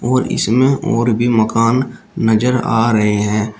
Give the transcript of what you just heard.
और इसमें और भी मकान नजर आ रहे हैं।